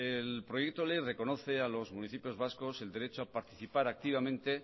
el proyecto de ley reconoce a los municipios vascos el derecho a participar activamente